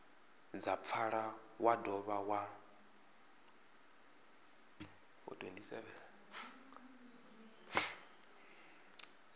dza pfala wa dovha wa